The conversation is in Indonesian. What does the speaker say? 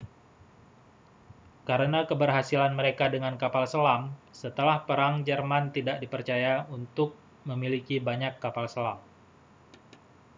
karena keberhasilan mereka dengan kapal selam setelah perang jerman tidak dipercaya untuk memiliki banyak kapal selam